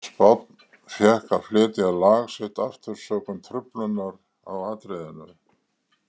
Spánn fékk að flytja lag sitt aftur sökum truflunar á atriðinu.